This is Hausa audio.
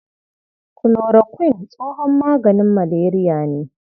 Kulorokuin tsohon maganin maleriya ne.